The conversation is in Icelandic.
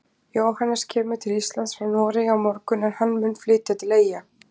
Jóhannes kemur til Íslands frá Noregi á morgun en hann mun flytja til Eyja.